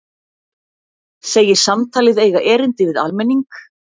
Segir samtalið eiga erindi við almenning